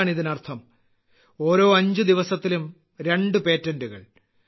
എന്താണ് ഇതിനർത്ഥം ഓരോ അഞ്ച് ദിവസത്തിലും രണ്ട് പേറ്റന്റുകൾ